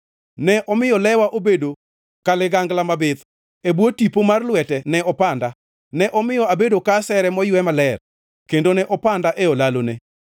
Ne omiyo lewa obedo ka ligangla mabith, e bwo tipo mar lwete ne opanda; ne omiyo abedo ka asere moywe maler kendo ne opanda e olalone.